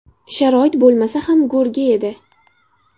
Sharoit bo‘lmasa ham go‘rga edi.